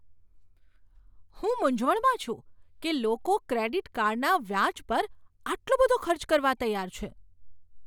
હું મૂંઝવણમાં છું કે લોકો ક્રેડિટ કાર્ડના વ્યાજ પર આટલો બધો ખર્ચ કરવા તૈયાર છે.